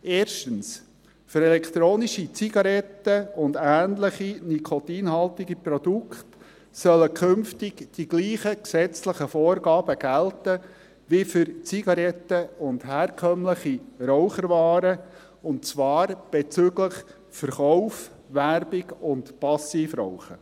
Erstens: Für elektronische Zigaretten und ähnliche nikotinhaltige Produkte sollen künftig die gleichen gesetzlichen Vorgaben gelten wie für Zigaretten und herkömmliche Raucherwaren, und zwar bezüglich Verkauf, Werbung und Passivrauchen.